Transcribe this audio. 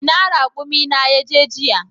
Ina raƙumi na ya je jiya?